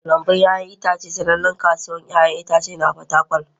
Lambun 'ya'yan itace sanannen kasuwar 'ya'yan itace a Fatakwal.